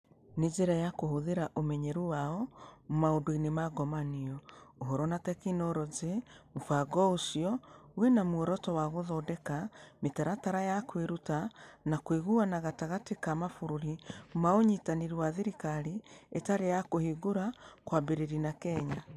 Na njĩra ya kũhũthĩra ũmenyeru wao maũndũ-inĩ ma ngomanio, ũhoro, na tekinoronjĩ, mũbango ũcio wĩ na muoroto wa gũthondeka mĩtaratara ya kwĩruta na kũiguana gatagatĩ ka mabũrũri ma Ũnyitanĩri wa Thirikari Ĩtarĩ ya Kũhingũra, kwambĩrĩria na Kenya.